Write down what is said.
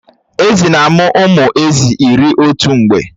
Èzí na-amụ ụmụ Èzí iri otu mgbe